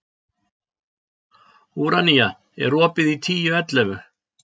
Úranía, er opið í Tíu ellefu?